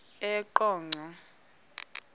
eqonco